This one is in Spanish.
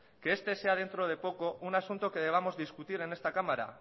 que este sea dentro de poco un asunto que debamos discutir en esta cámara